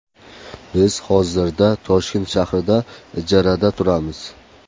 Biz hozirda Toshkent shahrida ijarada turamiz.